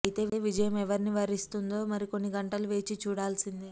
అయితే విజయం ఎవరిని వరిస్తుందో మరి కొన్ని గంటలు వేచి చూడాల్సిందే